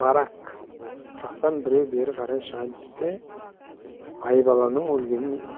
барак жақтан біреу бері қарай шығайын десе айбаланың өлгенін